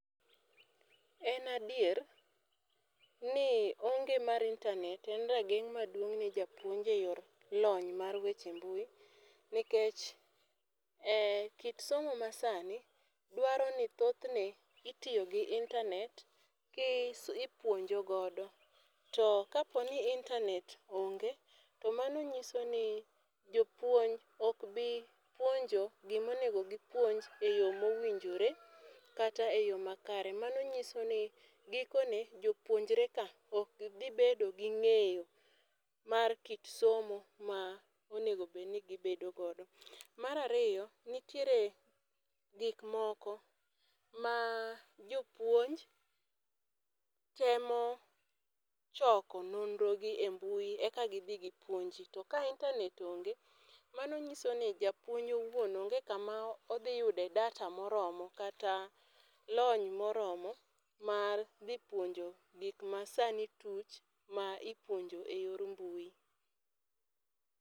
En adier, ni onge mar intanet en ga rageng' maduong' ne japuonj e yor lony mar weche mbui nikech kit somo ma sani dwaro ni thothne itiyo gi intanet ki ipuonjo godo to ka po ni intanet onge to mano ng'isoni jopuonj ok nyal puonjo guik ma onego gi puonj e yo ma owinjore kata e yo makare. Mano ng'iso ni giko ne jopunjre ka ok bi nbedo gi ng'eyo ,mar kit somo ma ma onego bed ni gi bedo go. Mar ariyo, nitiere gik moko ma jopuonj temo choko nonro gi e mbui eka gi dhi gi puonji, to ka intanet onge mano ng'iso ni japuonj owuon onge ka ma odhi yudo e data moromo kata lony ma oromo mar dhi puonjo gik ma sani tuch ma ipuonjo e yor mbui.